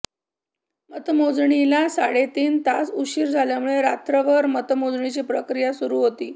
मतमोजणीला साडेतीन तास उशीर झाल्यामुळे रात्रभर मतमोजणीची प्रक्रीया सुरु होती